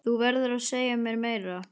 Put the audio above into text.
Þú verður að segja mér meira.